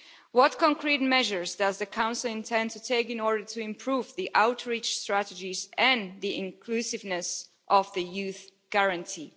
What concrete measures does the Council intend to take in order to improve the outreach strategies and the inclusiveness of the Youth Guarantee?